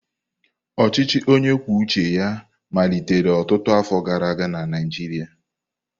Ọchịchị onye kwuo uche ya malitere ọtụtụ afọ gara aga na Naịjirịa.